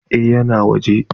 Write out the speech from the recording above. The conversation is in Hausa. Eh ya na waje?